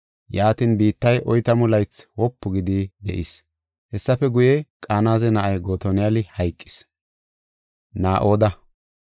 Yaatin, biittay oytamu laythi wopu gidi de7is. Hessafe guye, Qanaze na7ay Gotoniyali hayqis.